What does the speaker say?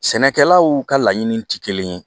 Sɛnɛkɛlaw ka laɲini tɛ kelen ye